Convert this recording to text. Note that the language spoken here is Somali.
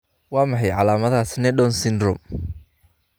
Waa maxay calaamadaha iyo calaamadaha Sneddon syndrome?